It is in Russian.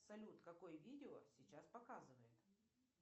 салют какое видео сейчас показывает